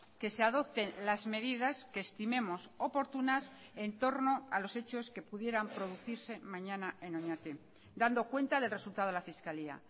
que se adopten las medidas que estimemos oportunas en torno a los hechos que pudieran producirse mañana en oñati dando cuenta del resultado a la fiscalía